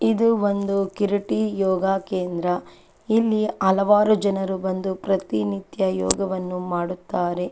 ಇದು ಒಂದು ಕಿರೀಟಿ ಯೋಗ ಕೇಂದ್ರ ಇಲ್ಲಿ ಹಲವಾರು ಜನರು ಬಂದು ಪ್ರತಿನಿತ್ಯ ಯೋಗವನ್ನು ಮಾಡುತ್ತಾರೆ .